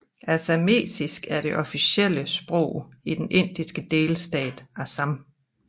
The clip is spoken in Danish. Assamesisk er det officielle sprog i den indiske delstat Assam